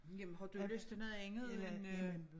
Jamen har du lyst til noget andet end øh